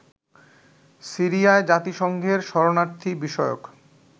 সিরিয়ায় জাতিসংঘের শরণার্থী বিষয়ক